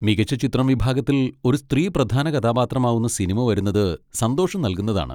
മികച്ച ചിത്രം വിഭാഗത്തിൽ ഒരു സ്ത്രീ പ്രധാന കഥാപാത്രമാവുന്ന സിനിമ വരുന്നത് സന്തോഷം നൽകുന്നതാണ്.